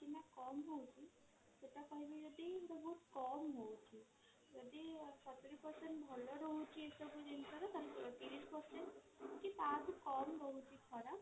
ନା କମ ହଉଛି ସେଟା କହିବି ଯଦି ଏଟା ବହୁତ କମ ହଉଛି ଯଦି ସତୁରୀ percent ଭଲ ରହୁଛି ଏସବୁ ଜିନିଷ ରେ ତାହେଲେ ତିରିଶି percent କି ତା ଠୁ କମ ରହୁଛି ଖରାପ